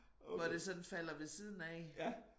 Hvor det sådan falder ved siden af